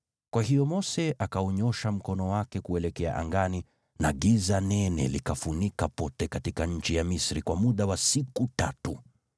Kwa hiyo Mose akaunyoosha mkono wake kuelekea angani, na giza nene likafunika pote katika nchi ya Misri kwa muda wa siku tatu.